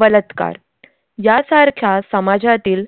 बलात्कार, यासारख्या समाजातील